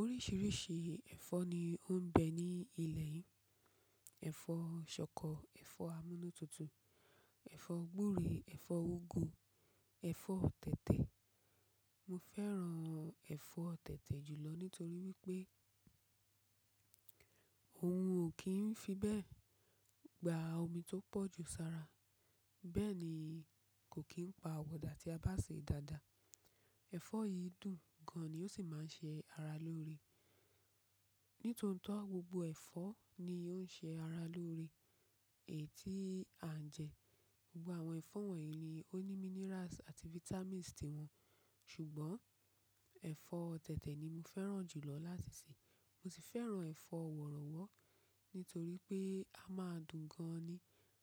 Oríṣìíríṣìí ẹ̀fọ́ ni ó ń bẹ ní ilẹ̀ yìí. Ẹ̀fọ́ ṣọkọ, ẹ̀fọ́ amúnútutù, ẹ̀fọ́ gbúre, ẹ̀fọ́ úgú, ẹ̀fọ́ tètè. Mo fẹ́ran ẹ̀fọ́ tètè jùlọ nítorí wípé ohun ò kí ń fi bẹ́ẹ̀ gba omi tó pọ̀jù sára. Bẹ́ẹ̀ ni kò kí ń pa wọ̀dà tí a bá sè é dáadáa. Ẹ̀fọ́ yìí dùn gan ni ó sì máa ń ṣe ara lóore. Nítòótó gbogbo ẹ̀fọ́ ni ó ń ṣe ara lóore èyí tí à ń jẹ. Gbogbo àwọn ẹ̀fọ́ wọ̀nyí ni ó ní minerals àti vitamins tiwọn. Ṣùgbọ́n ẹ̀fọ́ tètè ni mo fẹ́ran jùlọ látisè. Mo sì fẹ́ran ẹ̀fọ́ wọ̀rọ̀wọ́ nítorí pé a máa dùn gan-an ni,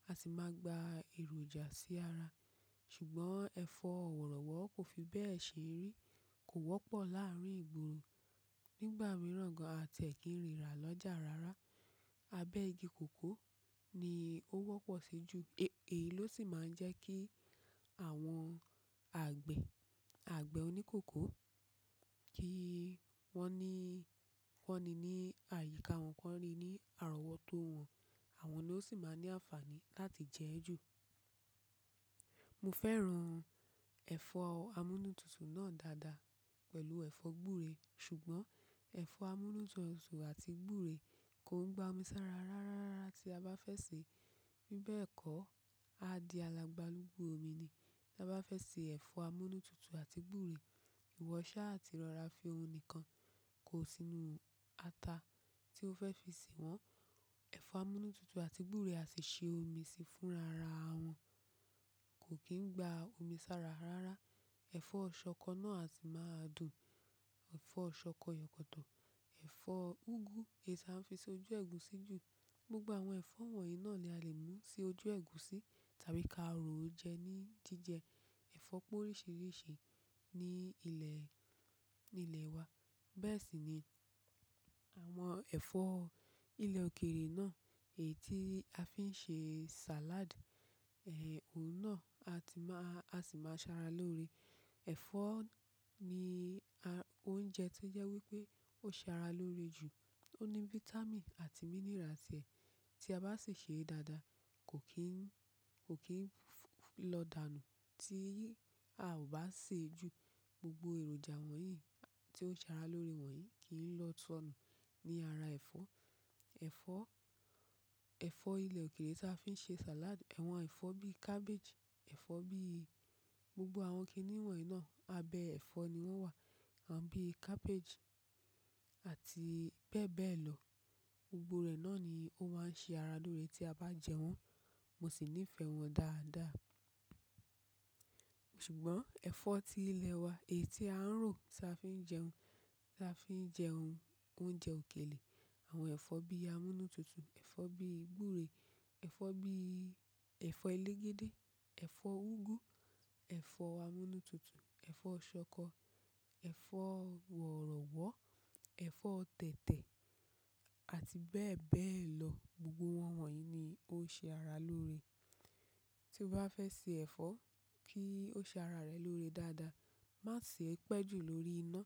a sì máa gba èròjà sí ara. Ṣùgbọ́n ẹ̀fọ́ wọ̀rọ̀wọ́ kò fi bẹ́ẹ̀ ṣe rí. Kò wọ́pọ̀ láàrin ìgboro. Nígbà mìíràn gan-an a lè kí n ríra lọ́jà rárá. Abẹ́ igi kòkó ni ó wọ́pọ̀ sí ju, èyí ló sì máa ń jẹ́ kí àwọn àgbẹ̀, àgbẹ̀ oníkóko kí wọ́n ní, kọ́ni ní àyíká wọn kọ́ni rí ní àrọ́wótó wọn. Àwọn ló sì máa ní àǹfààní láti jẹ́ ẹ́ jù. Mo fẹ́ran ẹ̀fọ́ amúnútutù náà dáadáa pẹ̀lú ẹ̀fọ́ gbúre. Ṣùgbọ́n ẹ̀fọ́ amúnútutù àti gbúre kò ń gba omi sára rárá rárá tí a bá fẹ́ sè é. Bí bẹ́ẹ̀ kọ́, á di alàgbàlúgbú omi ni. Tí a bá fẹ́ sè ẹ̀fọ́ amúnútutù àti gbúre, ìwọṣá àti ìrọra fi òun nìkan kò sí inú ata tí o fẹ́ fi sè wọ́n. Ẹ̀fọ́ amúnútutù àti gbúre á sì ṣe omi si fún rara wọn. Kò kí ń gba omi sára rárá. Ẹ̀fọ́ ṣọkọ náà á sì máa dùn. Ẹ̀fọ́ ṣọkọ, ìyọ̀kòtò, ẹ̀fọ́ úgú èyí tí a fi ṣe ojú ẹ̀gúsí jù. Gbogbo àwọn ẹ̀fọ́ wọ̀nyí náà ni a lè mú si ojú ẹ̀gúsí tàbí ká ro ó jẹ ní jíjẹ. Ẹ̀fọ́ pọ̀ oríṣìíríṣìí ni ilẹ̀, ní ilẹ̀ wa. Bẹ́ẹ̀ sì ni àwọn ẹ̀fọ́ ilẹ̀ òkèèrè náà èyí tí a fi ń ṣe salad. Ẹ̀, òun náà a sì máa, a sì máa ṣe ara lóore. Ẹ̀fọ́ ni oúnjẹ tí ó jẹ́ wípé ó ṣe ara lóore jù. Ó ní vitamin àti mineral tiẹ. Tí a bá sì sè é dáadáa kò kín, kò kín lọ dànù tí a ò bá sè é jù. Gbogbo èròjà wọ̀nyí tí ó ṣe ara lóore wọ̀nyí kì í lọ sọnù ní ara ẹ̀fọ́. Ẹ̀fọ́, ẹ̀fọ́ ilẹ̀ òkèèrè tí a fi ń ṣe salad, àwọn ẹ̀fọ́ bí cabbage, ẹ̀fọ́ bí, gbogbo àwọn kìnìún wọ̀nyí náà abẹ́ ẹ̀fọ́ ni wọ́n wà. Àwọn bí cabbage àti bẹ́ẹ̀ bẹ́ẹ̀ lọ. Gbogbo rẹ̀ náà ni ó máa ń ṣe ara lóore tí a bá jẹ wọ́n. Mo sì níí fẹ́ wọn dáadáa. Ṣùgbọ́n ẹ̀fọ́ tí ilẹ̀ wa, èyí tí a ń rò tí a fi ń jẹun, tí a fi ń jẹ ounces òkèlè, àwọn ẹ̀fọ́ bí amúnútutù, ẹ̀fọ́ bí gbúre, ẹ̀fọ́ bí, ẹ̀fọ́ elégédé, ẹ̀fọ́ úgú, ẹ̀fọ́ amúnútutù, ẹ̀fọ́ ṣọkọ, ẹ̀fọ́ wọ̀rọ̀wọ́, ẹ̀fọ́ tètè àti bẹ́ẹ̀ bẹ́ẹ̀ lọ gbogbo won wọ̀nyí ni ó ń ṣe ara lóore. Tí o bá fẹ́ sè ẹ̀fọ́ kí ó ṣe ara rẹ lóore dáadáa, má sì ẹ pẹ́ jù lórí iná.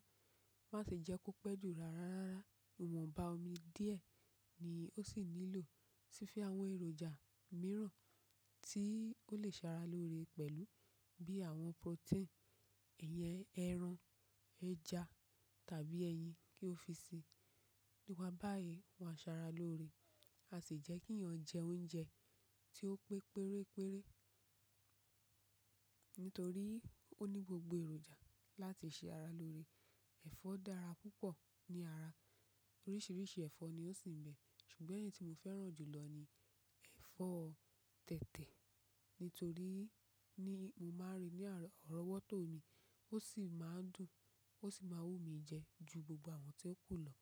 Má sì jẹ́ kó pẹ́ jù rárá rárá. Ìwọ̀n bá omi díẹ̀ ni ó sì nílò. Sì fi àwọn èròjà mìíràn tí ó lè ṣe ara lóore pẹ̀lú bí àwọn protein, ẹyin ẹran, ẹja tàbí ẹyin kí o fi sè. Níwà pá bayí ó máa ṣe ara lóore. A sì jẹ́ kí èèyàn jẹ oúnjẹ tí ó pé péréré nítorí ó ní gbogbo èròjà láti ṣe ara lóore. Ẹ̀fọ́ dára púpọ̀ ní ara. Oríṣìíríṣìí ẹ̀fọ́ ni ó sì ń bẹ. Ṣùgbọ́n èyí tí mo fẹ́ran jùlọ ni ẹ̀fọ́ tètè nítorí ní mo máa ń rí ní àárọ̀wótó mi. Ó sì máa ń dùn, ó sì máa wú mi jẹ ju gbogbo àwọn tí ó kù lọ.